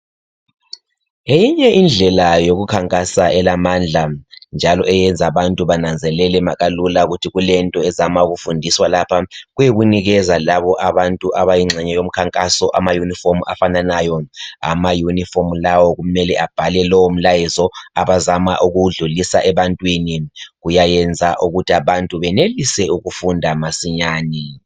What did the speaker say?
Eyinye indlela youkukhankasa elamandla njalo eyenza abantu bananzelele makalula ukuthi kulento ezama ukufundiswa lapha kuyikunikeza labo abantu abayigxenye yomkhankaso ama uniform afananayo. Ama uniform lawo kumele abhalwe lowo mlayezo abazamaukuwudlulisa ebantwini. Kuyayenza ukuthi abantu benelise ukufunda masinyani